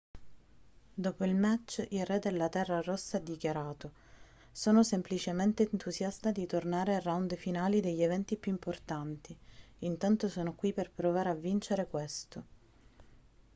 dopo il match il re della terra rossa ha dichiarato sono semplicemente entusiasta di tornare ai round finali degli eventi più importanti intanto sono qui per provare a vincere questo